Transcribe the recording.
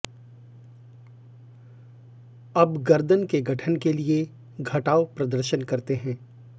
अब गर्दन के गठन के लिए घटाव प्रदर्शन करते हैं